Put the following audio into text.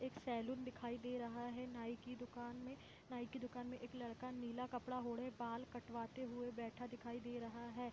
एक सैलून दिखाई दे रहा है नाई के दुकान में नाई के दुकान मे एक लड़का नीले कपड़ा ओढ़े बाल कटवाते हुए बैठे दिखाई दे रहे हैं।